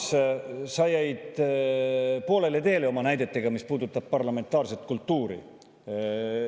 Urmas, sa jäid poolele teele oma näidetega, mis puudutab parlamentaarset kultuuri.